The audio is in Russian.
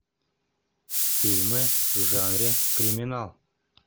фильмы в жанре криминал